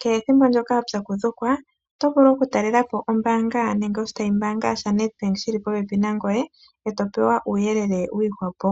kehe ethimbo watsakudhukwa, otovulu okukatalelapo oshitayi shombanga yaNEDBANK shili po pepi nangweye etopewa uuyelele wiihwapo.